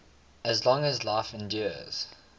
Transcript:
as long as life endures